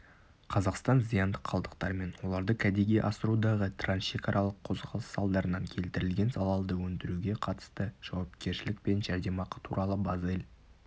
қазақстан зиянды қалдықтар мен оларды кәдеге асырудағы трансшекаралық қозғалыс салдарынан келтірілген залалды өндіруге қатысты жауапкершілік пен жәрдемақы туралы базель